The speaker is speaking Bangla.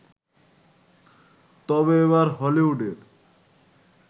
তবে এবার হলিউডের